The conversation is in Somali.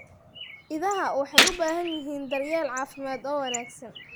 Idaha waxay u baahan yihiin daryeel caafimaad oo wanaagsan.